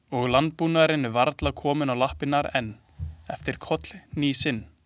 Og landbúnaðurinn er varla kominn á lappirnar enn eftir kollhnísinn.